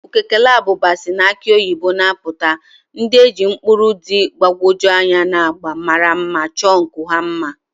Ukukele abụba si na akị oyibo na-apụta, ndị e ji ụkpụrụ dị mgbagwoju anya na agba mara mma chọọ nku ha mma.